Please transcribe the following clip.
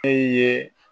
Fɛn ye